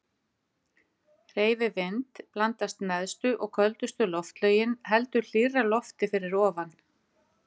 Hreyfi vind blandast neðstu og köldustu loftlögin heldur hlýrra lofti fyrir ofan.